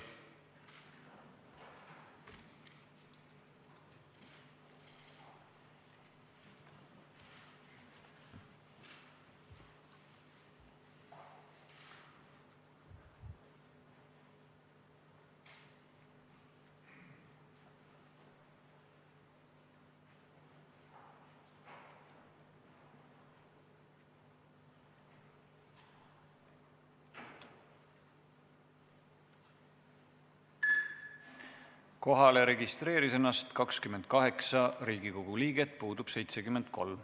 Kohaloleku kontroll Kohalolijaks registreeris ennast 28 Riigikogu liiget, puudub 73.